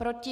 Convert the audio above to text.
Proti?